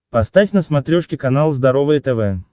поставь на смотрешке канал здоровое тв